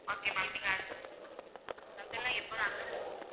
Okay ma'am நீங்க அது அதுலா இப்பதா